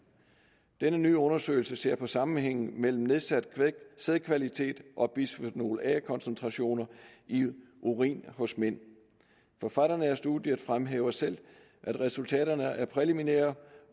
denne nye undersøgelse ser på sammenhængen mellem nedsat sædkvalitet og bisfenol a koncentrationer i urin hos mænd forfatterne af studiet fremhæver selv at resultaterne er præliminære